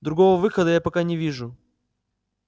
другого выхода я пока не вижу